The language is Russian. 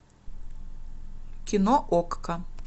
кино окко